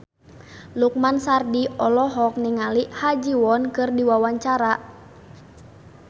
Lukman Sardi olohok ningali Ha Ji Won keur diwawancara